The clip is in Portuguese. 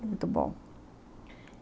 Muito bom.